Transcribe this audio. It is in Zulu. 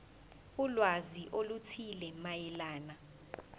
ulwazi oluthile mayelana